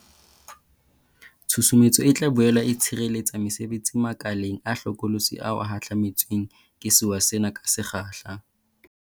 Tshusumetso e tla boele e tshireletsa mesebetsi makeleng a hlokolotsi ao a hahlame tsweng ke sewa sena ka se kgahla.